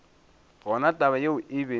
gona taba yeo e be